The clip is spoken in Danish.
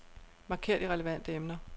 Marker de relevante emner.